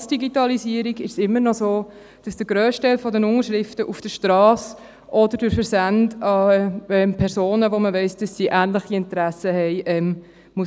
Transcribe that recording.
Trotz Digitalisierung ist es immer noch so, dass der grösste Teil der Unterschriften auf der Strasse gesammelt wird oder durch Versände an Personen, von denen man weiss, dass sie ähnliche Interessen haben.